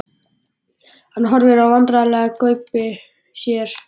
Hann horfir vandræðalega í gaupnir sér.